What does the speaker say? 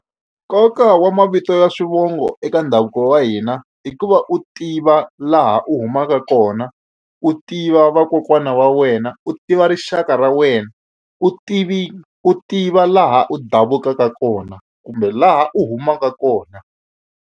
Nkoka wa mavito ya swivongo eka ndhavuko wa hina i ku va u tiva laha u humaka kona u tiva vakokwana wa wena u tiva rixaka ra wena u tivi u tiva laha u davukaka kona kumbe laha u humaka kona.